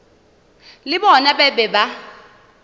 le bona ba be ba